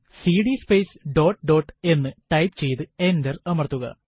CD space dot dot എന്ന് type ചെയ്ത് enter അമർത്തുക